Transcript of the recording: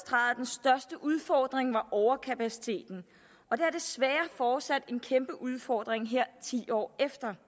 og udfordring var overkapaciteten og der er desværre fortsat en kæmpe udfordring her ti år efter